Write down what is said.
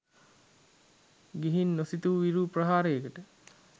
ගිහින් නොසිතු විරු ප්‍රහාරයකට